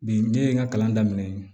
Bi ne ye n ka kalan daminɛ yen